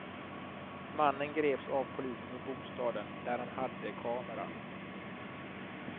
Mannen greps av polisen i bostaden, där han hade kameran.